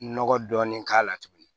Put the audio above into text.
Nɔgɔ dɔɔni k'a la tuguni